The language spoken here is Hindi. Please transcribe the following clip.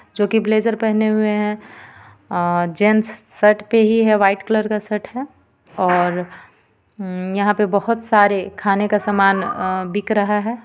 जोकि ब्लेजर पहने हुए हे अ और जेंट्स शर्ट पे ही हे व्हाइट कलर का शर्ट हे और हूँ यहाँ पे बोहोत सारे खाने का समान बिक रहा हे.